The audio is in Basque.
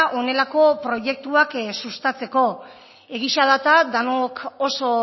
honelako proiektuak sustatzeko egia da eta denok oso